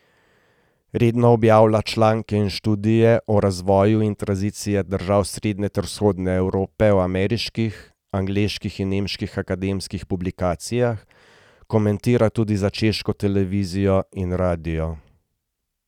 Redno objavlja članke in študije o razvoju in tranziciji držav Srednje ter Vzhodne Evrope v ameriških, angleških in nemških akademskih publikacijah, komentira tudi za češko televizijo in radio.